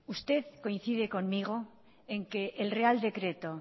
usted coincide conmigo en que el real decreto